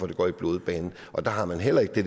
det går i blodbanen og der har man heller ikke det